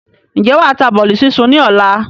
Ǹjẹ́ wàá ta bọ́lì súnsun ni ọ̀la?